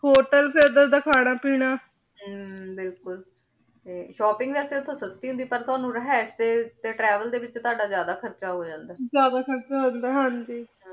hotel ਫੇਰ ਓਧਰ ਦ ਖਾਨਾ ਪੀਨਾ ਹਮਮ ਬਿਲਕੁਲ ਤੇ shopping ਵੇਆਯ ਓਥੋਂ ਸਸਤੀ ਹੁੰਦੀ ਪਰ ਤੁਹਾਨੂ ਰਹਾਇਸ਼ ਤੇ travel ਦੇ ਵਿਚ ਤਾਦਾ ਜਿਆਦਾ ਖਰਚਾ ਹੋ ਜਾਂਦਾ ਜਿਆਦਾ ਖਰਚਾ ਹੋ ਜਾਂਦਾ ਹਾਂਜੀ